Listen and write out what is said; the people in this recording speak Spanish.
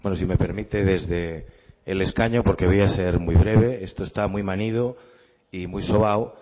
si me permite desde el escaño porque voy a ser muy breve esto está muy manido y muy sobado